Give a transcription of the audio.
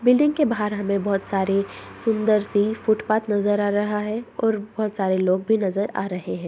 Building के बाहर हमे बहुत सारे फुट-पाथ नजर आ रहा है और बहुत सारे लोग भी नजर आ रहे हैं।